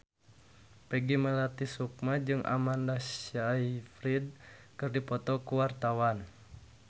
Peggy Melati Sukma jeung Amanda Sayfried keur dipoto ku wartawan